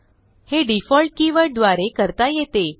हे default keyword द्वारे करता येते